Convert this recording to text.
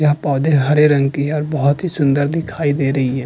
यह पौधे हरे रंग की है और बहुत ही सुन्दर दिखाई दे रही है।